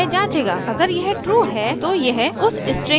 अगर यह ट्रू है तो यह उस string की वैल्यू प्रिंट करेगा जो वहां निर्दिष्ट है